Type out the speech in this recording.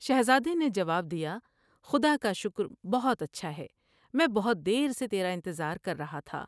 شہزادے نے جواب دیا" خدا کا شکر بہت اچھا ہے میں بہت دیر سے تیرا انتظار کر رہا تھا ۔